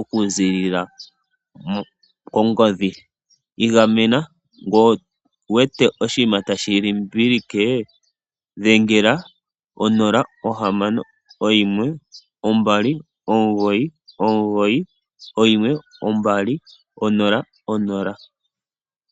oku zilila kongodhi. Igamena ngele owu wete oshinima tashi limbilike dhengela onola ,ohamano, oyimwe, ombali, mugoyi, omugoyi, oyimwe, ombali, onola, onola.